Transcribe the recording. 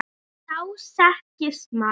Þá þekkist maður.